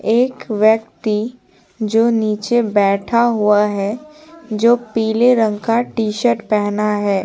एक व्यक्ति जो नीचे बैठा हुआ है पीले रंग का टी-शर्ट पहना है।